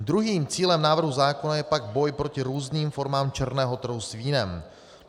Druhým cílem návrhu zákona je pak boj proti různým formám černého trhu s vínem.